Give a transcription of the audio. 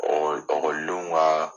ɔkɔlidenw ka